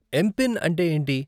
MPIN అంటే ఏంటి?